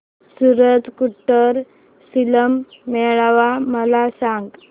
सूरज कुंड शिल्प मेळावा मला सांग